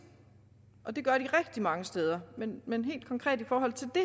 det gør de rigtig mange steder men helt konkret i forhold til det